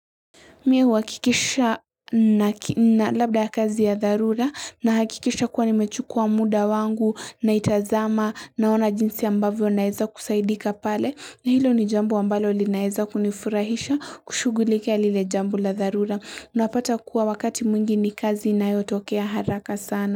Mie wakikisha na labda ya kazi ya dharura na hakikisha kuwa nimechukua muda wangu na itazama naona jinsi ambavyo naeza kusaidika pale na hilo ni jambu wa mbalo linaeza kunifurahisha kushugulikea lile jambu la dharura. Unapata kuwa wakati mwingi ni kazi na yoto okea haraka sana.